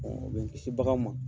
o bɛ n kisi bagan ma.